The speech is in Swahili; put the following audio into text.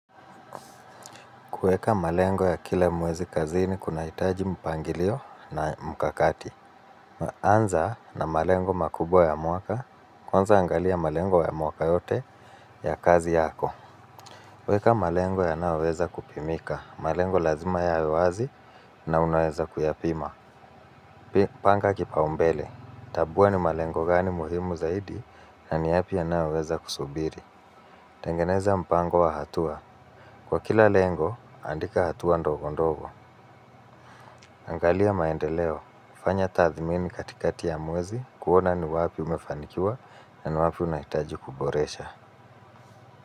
Kuweka malengo ya kila mwezi kazini kunahitaji mpangilio na mkakati. Anza na malengo makubwa ya mwaka, kwanza angalia malengo ya mwaka yote ya kazi yako. Weka malengo yanayoweza kupimika. Malengo lazima yawe wazi na unaweza kuyapima. Panga kipaumbele. Tabuwa ni malengo gani muhimu zaidi na ni yapi yanayoweza kusubiri. Tengeneza mpango wa hatua. Kwa kila lengo, andika hatua ndogo ndogo. Angalia maendeleo, kufanya tadhmini katikati ya mwezi, kuona ni wapi umefanikiwa na ni wapi unahitaji kuboresha.